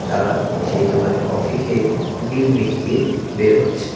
তারা সেই দোকানে কফি খেয়ে বিল মিটিয়ে বের হচ্ছে।